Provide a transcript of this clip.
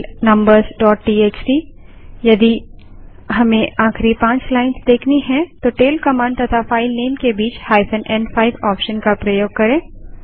tail numbersटीएक्सटी यदि हमें आखिरी पाँच लाइन्स देखनी हैं तो टैल कमांड तथा फाइल नेम के बीच n5 ऑप्शन का प्रयोग करें